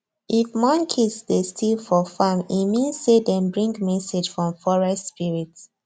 if monkeys dey steal for farm e mean say dem bring message from forest spirit